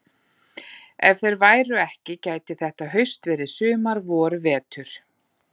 Ef þeir væru ekki gæti þetta haust verið sumar vor vetur.